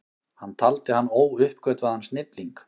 Hann taldi hann óuppgötvaðan snilling.